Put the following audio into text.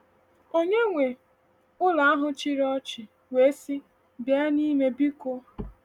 Onye nwe ụlọ ahụ chịrị ọchị wee sị: “Bịa n’ime, biko.”